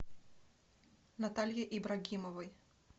наталье ибрагимовой